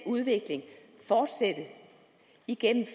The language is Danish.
udvikling fortsætte igennem